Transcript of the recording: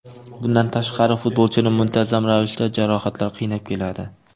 Bundan tashqari futbolchini muntazam ravishda jarohatlar qiynab keladi.